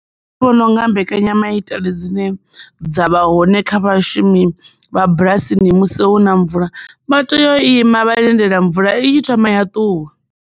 Nṋe ndi vhona unga mbekanyamaitele dzine dza vha hone kha vhashumi vha bulasini musi huna mvula vha tea u ima vha lindela mvula i thoma ya ṱuwa.